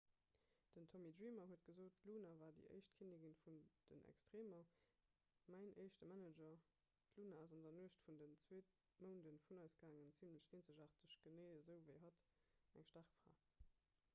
den tommy dreamer huet gesot d'luna war déi éischt kinnigin vun den extreemer mäin éischte manager d'luna ass an der nuecht vun den zwee mounde vun eis gaangen zimmlech eenzegaarteg genee esou ewéi hatt eng staark fra